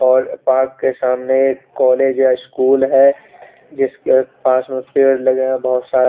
और पार्क के सामने एक कॉलेज है स्कूल है जिसके पास मे पेड़ लगे हुए है बोहोत सारे --